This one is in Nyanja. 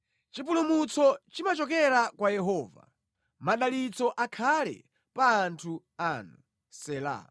Chipulumutso chimachokera kwa Yehova. Madalitso akhale pa anthu anu. Sela